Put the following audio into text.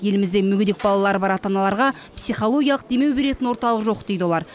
елімізде мүгедек балалары бар ата аналарға психологиялық демеу беретін орталық жоқ дейді олар